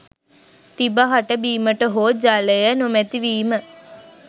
තිබහට බීමට හෝ ජලය නොමැති වීම